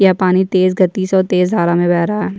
यह पानी तेज गति से और तेज धारा में बह रहा है।